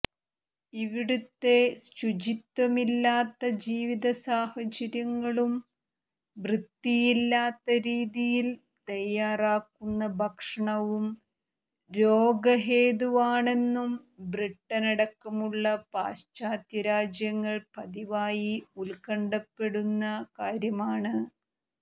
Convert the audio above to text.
ഇവിടുത്തെ ശുചിത്വമില്ലാത്ത ജീവിത സാഹചര്യങ്ങളും വൃത്തിയില്ലാത്ത രീതിയിൽ തയ്യാറാക്കുന്ന ഭക്ഷണവും രോഗഹേതുവാണെന്നും ബ്രിട്ടനടക്കമുള്ള പാശ്ചാത്യ രാജ്യങ്ങൾ പതിവായി ഉത്കണ്ഠപ്പെടുന്ന കാര്യമാണ്